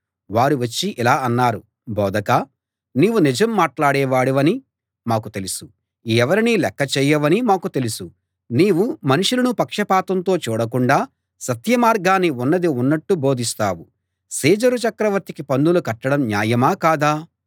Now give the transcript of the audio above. వారు వచ్చి ఇలా అన్నారు బోధకా నీవు నిజం మాట్లాడేవాడివని మాకు తెలుసు ఎవరినీ లెక్కచేయవని మాకు తెలుసు నీవు మనుషులను పక్షపాతంతో చూడకుండా సత్యమార్గాన్ని ఉన్నది ఉన్నట్టు బోధిస్తావు సీజరు చక్రవర్తికి పన్నులు కట్టడం న్యాయమా కాదా